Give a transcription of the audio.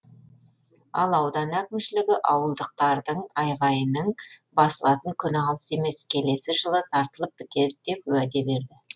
ал аудан әкімшілігі ауылдықтардың айғайының басылатын күні алыс емес келесі жылы тартылып бітеді деп уәде берді